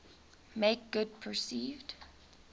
make good perceived